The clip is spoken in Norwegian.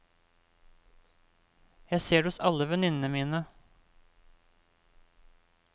Jeg ser det hos alle venninnene mine.